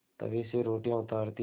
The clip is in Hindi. तवे से रोटियाँ उतारती हैं